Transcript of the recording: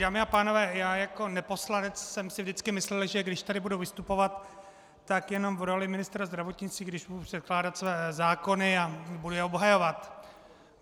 Dámy a pánové, já jako neposlanec jsem si vždycky myslel, že když tady budu vystupovat, tak jenom v roli ministra zdravotnictví, když budu předkládat své zákony a budu je obhajovat.